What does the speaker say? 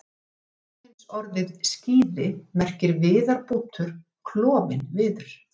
Hvorugkynsorðið skíði merkir viðarbútur, klofinn viður.